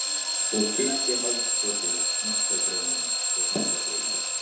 Og kyssti hálsakotið, hnakkagrófina, handarkrikana.